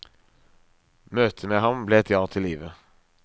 Møtet med ham ble et ja til livet.